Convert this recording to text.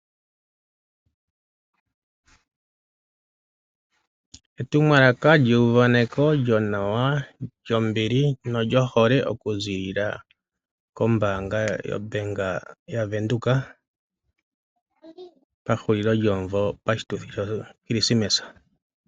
Etumwalaka lyeyuvaneko lyonawa lyombili nolyohole okuziilila kombaanga yaVenduka pahulilo lyomuvo poshituthi shoChristmas.